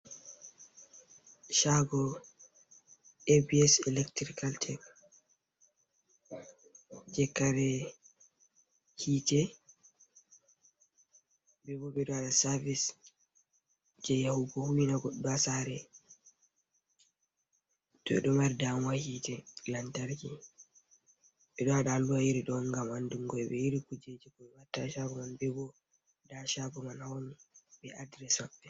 Shago A B S electrical tech, je kare hite ,bebo bedo wada service, je yahugo huwina goddo ha sare todo mari damuwa hite lantarki ,bedo wada alluha iri do on ,gam andungo himbe iri kujeji ko be watta ha shago gan bebo da shago man ha woni be adires mabbe.